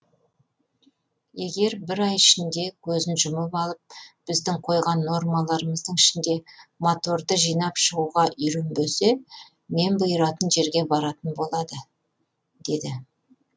егер бір ай ішінде көзін жұмып алып біздің қойған нормаларымыздың ішінде моторды жинап шығуға үйренбесе мен бұйыратын жерге баратын болады деді